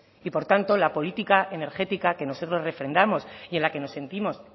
y por tanto la política energética que nosotros refrendamos y en la que nos sentimos